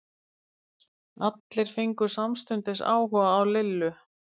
Allir fengu samstundis áhuga á Lillu.